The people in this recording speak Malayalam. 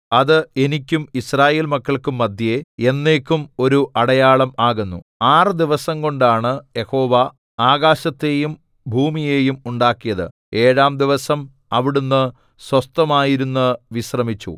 അത് എനിക്കും യിസ്രായേൽമക്കൾക്കും മദ്ധ്യേ എന്നേക്കും ഒരു അടയാളം ആകുന്നു ആറ് ദിവസംകൊണ്ടാണ് യഹോവ ആകാശത്തെയും ഭൂമിയെയും ഉണ്ടാക്കിയത് ഏഴാം ദിവസം അവിടുന്ന് സ്വസ്ഥമായിരുന്ന് വിശ്രമിച്ചു